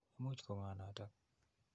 Imuch ko ng'o notok?